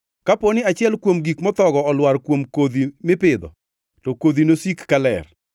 Kaponi achiel kuom gik mothogo olwar kuom kodhi mipidho, to kodhigo nosik ka ler,